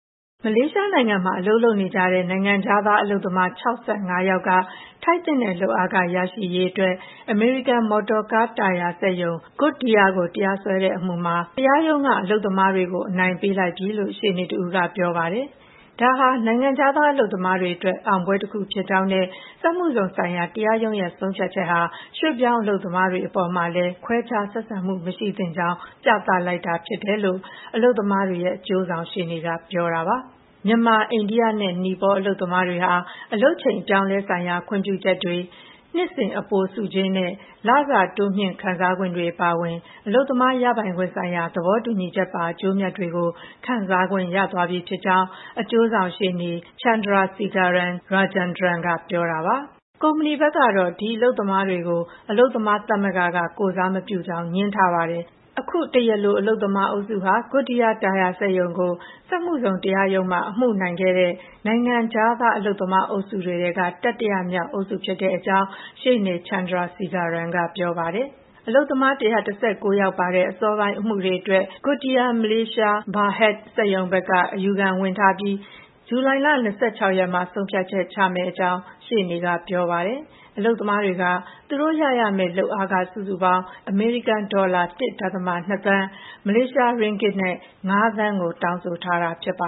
မလေးရှားနိုင်ငံမှာ အလုပ်လုပ်နေကြတဲ့ နိုင်ငံခြားသားအလုပ်သမား ၆၅ ယောက်က ထိုက်သင့်တဲ့ လုပ်အားခရရှိရေးအတွက် အမေရိကန် မော်တော်ကားတာယာစက်ရုံ Goodyear ကို တရားစွဲထားတဲ့အမှုမှာ တရားရုံးက အလုပ်သမားတွေကို အနိုင်ပေးလိုက်ပြီလို့ ရှေ့နေတဦးကပြောပါတယ်။ ဒါဟာ နိုင်ငံခြားသား အလုပ်သမားတွေအတွက် အောင်ပွဲတခုဖြစ်ကြောင်းနဲ့ စက်မှုဇုန်ဆိုင်ရာ တရားရုံးရဲ့ဆုံးဖြတ်ချက်ဟာ ရွှေ့ပြောင်းအလုပ်သမားတွေအပေါ်မှာလည်း ခွဲခြားဆက်ဆံမှုမရှိသင့်ကြောင်းကို ပြသလိုက်တာဖြစ်တယ်လို့ အလုပ်သမားတွေရဲ့ အကျိုးဆောင်ရှေ့နေက ပြောပါတယ်။ မြန်မာ၊ အိန္ဒိယနဲ့ နီပေါ အလုပ်သမားတွေဟာ အလုပ်ချိန်အပြောင်းအလဲဆိုင်ရာ ခွင့်ပြုချက်တွေ၊ နှစ်စဉ်အပိုဆုကြေးနဲ့ လစာတိုးမြှင့်ခံစားခွင့်တွေအပါအဝင် အလုပ်သမားရပိုင်ခွင့်ဆိုင်ရာ သဘောတူညီချက်ပါ အကျိုးအမြတ်တွေကို ခံစားခွင့်ရသွားပြီဖြစ်ကြောင်း အကျိုးဆောင်ရှေ့နေ ချန်ဒရာစီဂါရန် ရာဂျန်ဒရန် (Chandrasegaran Rajandran) က ပြောပါတယ်။ ကုမ္ပဏီဘက်ကတော့ ဒီအလုပ်သမားတွေကို အလုပ်သမားသမဂ္ဂက ကိုယ်စားမပြုကြောင်း ငြင်းထားပါတယ်။ အခု တရားလိုအလုပ်သမားအုပ်စုဟာ GoodYear တာယာစက်ရုံကို စက်မှုဇုန် တရားရုံးမှာ အမှုနိုင်ခဲ့တဲ့ နိုင်ငံခြားသား အလုပ်သမားအုပ်စုတွေထဲက တတိယမြောက်အုပ်စုဖြစ်ကြောင်း ရှေ့နေ ချန်ဒရာစီဂါရန် က ပြောပါတယ်။ အလုပ်သမား ၁၁၉ ယောက်ပါတဲ့ အစောပိုင်းအမှုတွေအတွက် Goodyear Malaysia Berhad စက်ရုံဘက်က အယူခံဝင်ထားပြီး ဇူလိုင် ၂၆ မှာ ဆုံးဖြတ်ချက်ချမယ့်အကြောင်း ရှေ့နေက ပြောပါတယ်။ အလုပ်သမားတွေက သူတို့ရရမယ့် လုပ်အားခ စုစုပေါင်း အမေရိကန်ဒေါ်လာ ၁.၂ သန်း၊ မလေးရှား ရင်းဂစ် ၅ သန်းကို တောင်းဆိုထားတာဖြစ်ပ